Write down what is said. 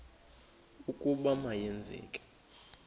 ukuba ma yenzeke